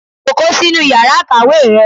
Jókòó sínú Ìyàrá Ikàwé rẹ!